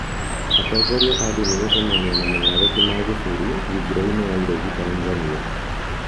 Atongoria a ndini gũcemania na mugathe ti Magufuli thigirainĩ wa iregi Tanzania